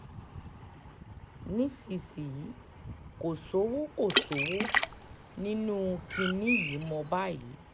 nísìnyìí kò sówó kò sówó nínú kinní yìí mọ́ báyìí